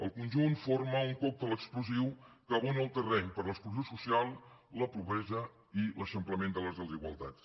el conjunt forma un còctel explosiu que abona el terreny per a l’exclusió social la pobresa i l’eixamplament de les desigualtats